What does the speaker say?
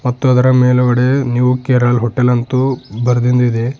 ಮತ್ತು ಅದರ ಮೇಲ್ಗಡೆ ನೀವು ಕೇರಳ ಹೋಟೆಲ್ ಅಂತು ಬರೆದಿಂದ್ ಇದೆ.